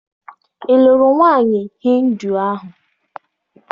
Ị lụrụ nwaanyị Hịndu ahụ?